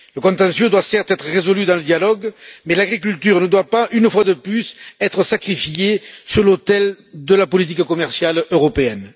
Le contentieux doit certes être résolu dans le dialogue, mais l'agriculture ne doit pas, une fois de plus, être sacrifiée sur l'autel de la politique commerciale européenne.